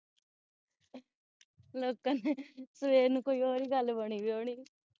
ਲੋਕਾਂ ਨੇ ਸਵੇਰ ਨੂੰ ਕੋਈ ਹੋਰ ਹੀ ਗਲ ਬਣੀ ਪਈ ਹੋਣੀ